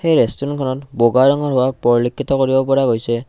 এই ৰেষ্টুৰেন্তখনত বগা ৰঙৰ ৱাল পৰিলেক্ষিত কৰিব পৰা গৈছে।